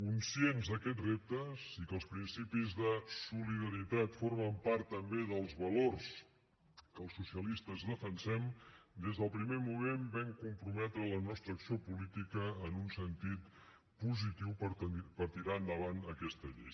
conscients d’aquests reptes i que els principis de solidaritat formen part també dels valors que els socialistes defensem des del primer moment vam comprometre la nostra acció política en un sentit positiu per tirar endavant aquesta llei